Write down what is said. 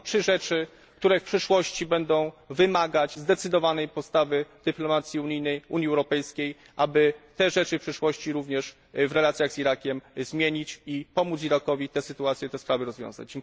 To są trzy rzeczy, które w przyszłości będą wymagać zdecydowanej postawy dyplomacji unijnej, Unii Europejskiej, aby je w przyszłości również w relacjach z Irakiem zmienić i pomóc Irakowi te sytuacje i te sprawy rozwiązać.